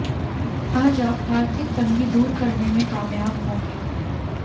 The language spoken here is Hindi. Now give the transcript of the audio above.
आज आप आर्थिक तंगी दूर करने में कामयाब होंगे